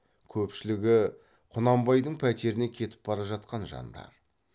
көпшілігі құнанбайдың пәтеріне кетіп бара жатқан жандар